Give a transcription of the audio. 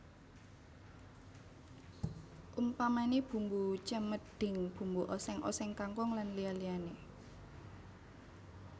Umpamané bumbu cemedhing bumbu oséng oséng kangkung lan liya liyané